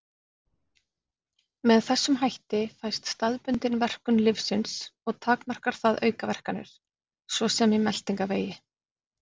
Með þessum hætti fæst staðbundin verkun lyfsins og takmarkar það aukaverkanir, svo sem í meltingarvegi.